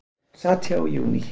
Sat hjá í júní